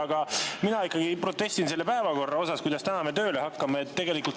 Aga mina ikkagi protestin selle päevakorra vastu, mille järgi me täna tööle hakkame.